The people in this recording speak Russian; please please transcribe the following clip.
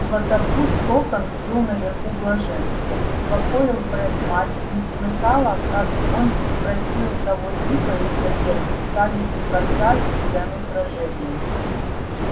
златопуст локонс был наверху блаженства успокоил фред мать не слыхала как он просил того типа из газеты вставить в репортаж сцену сражения